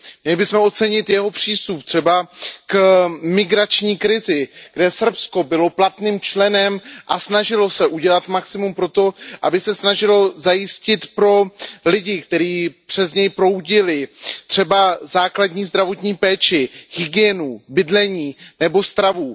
Měli bychom ocenit jeho přístup třeba k migrační krizi, kde Srbsko bylo platným členem a snažilo se udělat maximum pro to, aby se snažilo zajistit pro lidi, kteří přes něj proudili, třeba základní zdravotní péči, hygienu, bydlení nebo stravu.